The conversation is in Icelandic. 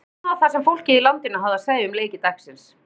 Kíkjum á það sem fólkið í landinu hafði að segja um leiki dagsins.